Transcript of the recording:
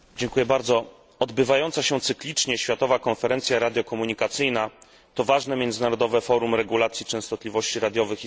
Odbywająca się cyklicznie światowa konferencja radio komunikacyjna to ważne międzynarodowe forum regulacji częstotliwości radiowych i satelitarnych.